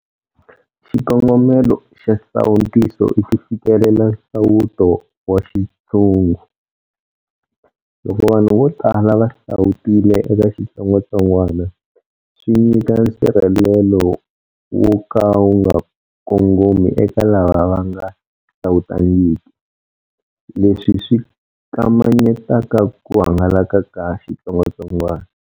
Xikongomelo xa nsawutiso i ku fikelela nsawuto wa xintshungu - loko vanhu vo tala va sawutile eka xitsongwatsongwana swi nyika nsirhelelo wo ka wu nga kongomi eka lava va nga sawutangiki, leswi swi kamanyetaka ku hangalaka ka xitsongwatsongwana.